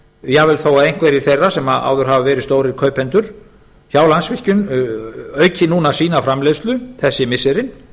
jafnvel þó að einhverjir þeirra sem áður hafa verið stórir kaupendur hjá landsvirkjun auki núna sína framleiðslu þessi missirin